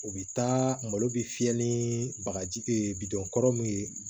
O bɛ taa malo bɛ fiyɛ ni bagaji bidɔn kɔrɔ min ye